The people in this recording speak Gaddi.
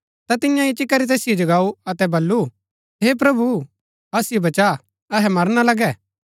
ता तिन्यै इच्ची करी तैसिओ जगाऊ अतै बल्लू हे प्रभु असिओ बचा अहै मरना लगै